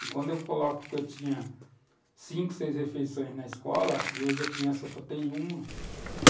E quando eu coloco que eu tinha cinco, seis refeições na escola, e hoje a criança só tem uma.